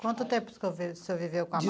Quanto tempo o senhor viveu com a